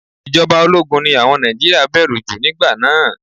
Ìjọba ológun ni àwọn Nàìjíríà bẹ̀rù jù nígbà náà.